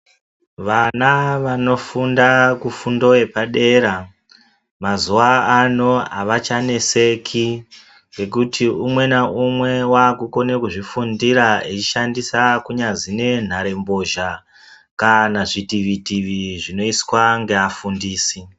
Vana vano funda fundo yepadera mazuwa ano havachaneseki ngekuti umwe naumwe wakukona kuzvifundira eishandandisa kunyazi nenhare mbozha kana zvitivitivi zvinoiswa ngeafundisi.